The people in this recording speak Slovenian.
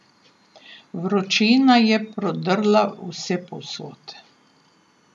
Vročina je prodrla vsepovsod.